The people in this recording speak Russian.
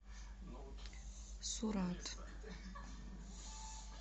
сурат